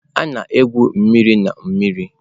A na-egwu mmiri na mmiri.